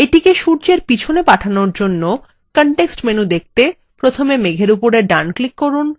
এটিকে সূর্যের পিছনে পাঠানোর জন্য context menu জন্য মেঘএর উপর sun click করুন